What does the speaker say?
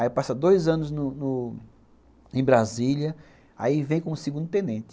Aí passa dois anos no no em Brasília, aí vem com o segundo tenente.